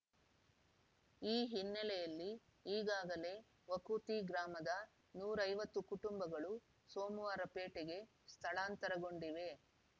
ಈ ಹಿನ್ನೆಲೆಯಲ್ಲಿ ಈಗಾಗಲೇ ವಕೂತಿ ಗ್ರಾಮದ ನೂರ ಐವತ್ತು ಕುಟುಂಬಗಳು ಸೋಮವಾರಪೇಟೆಗೆ ಸ್ಥಳಾಂತರಗೊಂಡಿವೆ